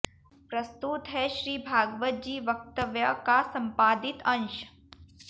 प्रस्तुत है श्री भागवत जी वक्तव्य का संपादित अंश